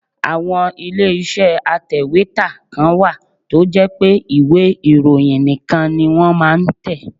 Àwọn ilé iṣẹ́ atèwétà kan wà tó jẹ́ pé ìwé ìròyìn nìkan ni wọ́n máa ń tẹ.